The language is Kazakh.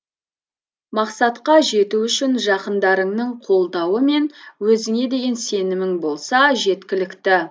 мақсатқа жету үшін жақындарыңның қолдауы мен өзіңе деген сенімің болса жеткілікті